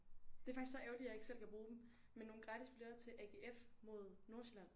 Det faktisk så ærgerligt jeg ikke selv kan bruge dem men nogle gratis billetter til AGF mod Nordsjælland